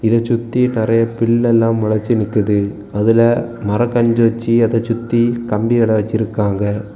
இத சுத்தி நறைய பில்லெல்லாம் மொளச்சி நிக்குது அதுல மரக்கன்று வைச்சி அதை சுத்தி கம்பி வேற வெச்சிருக்காங்க.